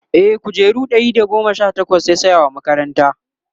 e kujeru Ɗari da goma Sha takwas yasaya wa makaranta